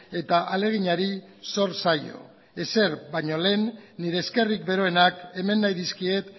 eta ahaleginari zor zaio ezer baino lehen nire eskerrik beroenak eman nahi dizkiet